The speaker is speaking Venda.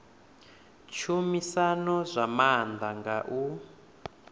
tshumisano zwa maanḓa nga u